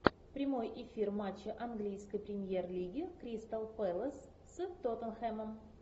прямой эфир матча английской премьер лиги кристал пэлас с тоттенхэмом